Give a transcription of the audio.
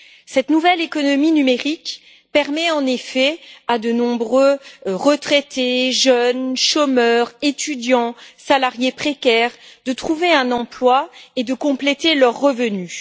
Cette nouvelle économie numérique permet en effet à de nombreux retraités, jeunes, chômeurs, étudiants ou salariés précaires de trouver un emploi et de compléter leurs revenus.